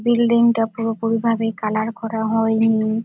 বিল্ডিংটা পুরোপুরি ভাবে কালার করা হয়নি।